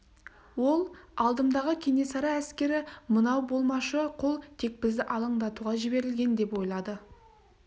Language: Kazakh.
ол алдымдағы кенесары әскері мынау болмашы қол тек бізді алаңдатуға жіберілген деп ойлады